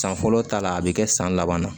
San fɔlɔ ta la a bɛ kɛ san laban na